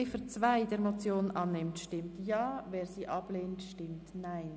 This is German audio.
Wer die Ziffer 2 der Motion annimmt, stimmt Ja, wer diese ablehnt, stimmt Nein.